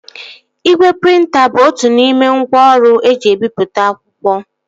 Igwe prịnta bụ otu n'ime ngwá ọrụ eji ebipụta akwụkwọ